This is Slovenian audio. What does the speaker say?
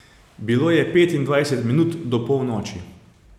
Bilo je petindvajset minut do polnoči.